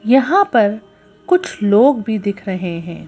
यहां पर कुछ लोग भी दिख रहे हैं।